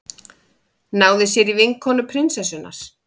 Náði sér í vinkonu prinsessunnar